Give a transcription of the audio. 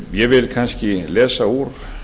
ég vil kannski lesa úr